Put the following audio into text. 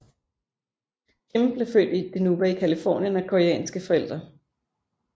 Kim blev født i Dinuba i Californien af koreanske forældre